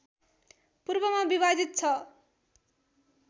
पूर्वमा विभाजित छ